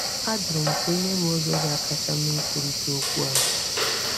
Ajụrụ m ka e nye m oge ga-akacha mma ikwurịta okwu ahụ.